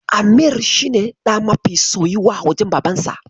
Amir shi ne ɗa mafi soyuwa a wajen Babarsa.